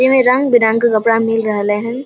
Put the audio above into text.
एमे रंग-बिरंग के कपड़ा मिल रहले हेन।